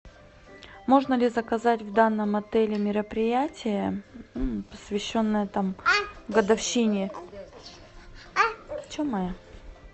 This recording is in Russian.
можно ли заказать в данном отеле мероприятие посвященное годовщине